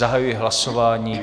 Zahajuji hlasování.